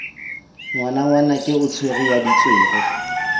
ngwanangwanake o tswere ya ditswere